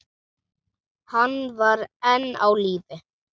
Hann var enn á lífi.